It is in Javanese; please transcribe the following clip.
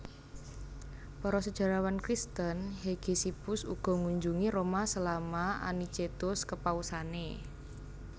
Para sejarawan Kristen Hegesippus ugo ngunjungi Roma selama Anicetus kepausane